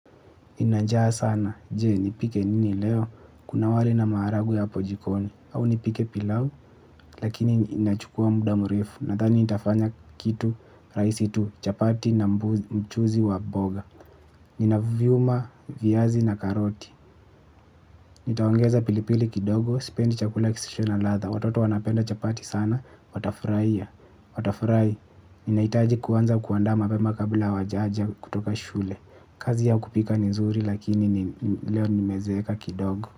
Nina njaa sana, jee, nipike nini leo, kuna wali na maharagwe apo jikoni, au nipike pilau, lakini inachukua muda murefu, nathani nitafanya kitu rahisi tu, chapati na mchuzi wa mboga, ninavyuma viyazi na karoti, nitaongeza pilipili kidogo, spendi chakula kisicho na latha, watoto wanapenda chapati sana, watafurahia, watafurahi, ninaitaji kuanza kuandama mapema kabla wajaja kutoka shule. Kazi ya kupika nizuri lakini leo nimezeka kidogo.